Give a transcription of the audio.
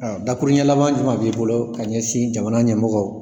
Awɔ. Dakuruɲɛ laban juman b'i bolo ka ɲɛsin jamana ɲɛmɔgɔw